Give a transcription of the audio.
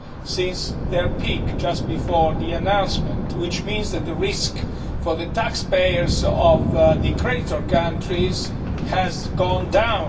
since their peak just before the announcement, which means that the risk to taxpayers of the creditor countries has gone down.